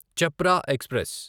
Chhapra express